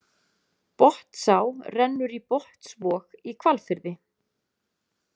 Botnsá rennur í Botnsvog í Hvalfirði.